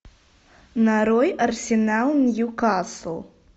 нарой арсенал ньюкасл